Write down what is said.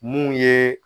Mun ye